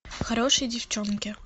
хорошие девчонки